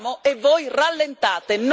Non ve lo potete permettere.